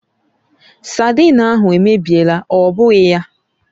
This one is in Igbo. Saidin ahụ èmèbịèlà, ọ bụghị ya?